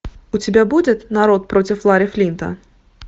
у тебя будет народ против ларри флинта